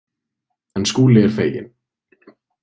En Skúli er feginn.